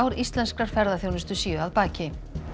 íslenskrar ferðaþjónustu séu að baki